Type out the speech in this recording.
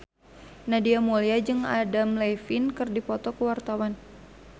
Nadia Mulya jeung Adam Levine keur dipoto ku wartawan